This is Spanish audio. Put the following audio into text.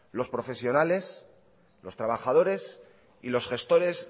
los profesionales los trabajadores y los gestores